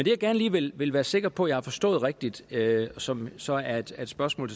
jeg gerne lige vil vil være sikker på jeg har forstået rigtigt og som så er et spørgsmål